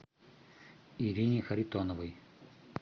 ирине харитоновой